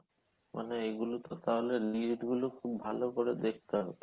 মানে এগুলো তো তাহলে নিয়মগুলো খুব ভালো করে দেখতে হবে